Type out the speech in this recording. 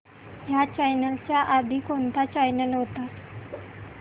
ह्या चॅनल च्या आधी कोणता चॅनल होता